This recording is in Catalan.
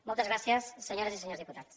moltes gràcies senyores i senyors diputats